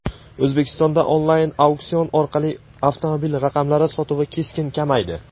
O‘zbekistonda onlayn auksion orqali avtomobil raqamlari sotuvi keskin kamaydi.